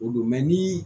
O don ni